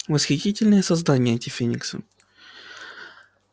восхитительные создания эти фениксы